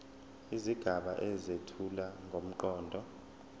izigaba ezethula ngomqondo